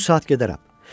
Bu saat gedərəm.